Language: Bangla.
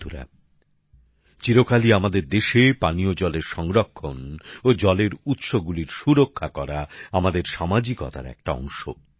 বন্ধুরা চিরকালই আমাদের দেশে পানীয় জলের সংরক্ষণ ও জলের উৎস গুলির সুরক্ষা করা আমাদের সামাজিক উদ্যোগের একটা অংশ